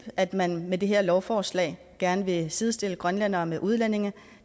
at man med det her lovforslag gerne vil sidestille grønlændere med udlændinge